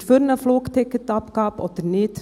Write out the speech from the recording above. Sind Sie für eine Flugticketabgabe oder nicht?